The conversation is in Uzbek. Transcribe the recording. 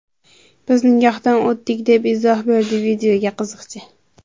Biz nikohdan o‘tdik”, deb izoh berdi videoga qiziqchi.